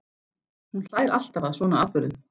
Hún hlær alltaf að svona atburðum.